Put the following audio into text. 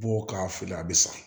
Bɔ k'a fili a bɛ sa